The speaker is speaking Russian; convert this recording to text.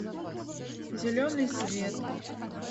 зеленый свет